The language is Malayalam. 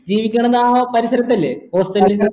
ജീവിക്കണത് ആ പരിസരത്തല്ലെ hostel